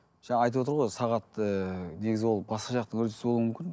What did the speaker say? жаңағы айтып отыр сағатты негізі ол басқа жақтың үрдісі болуы мүмкін